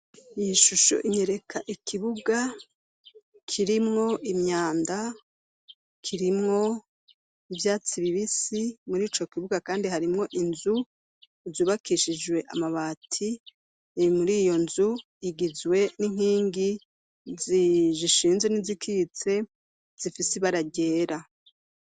Iyishusho inkereka ikibuga kirimwo imyanda kirimwo ivyatsi bibisi muri ico kibuga kandi harimwo inzu zubakishijwe amabati muri iyo nzu igizwe n'inkingi zishinze n'izikitse zifise ibara ryera.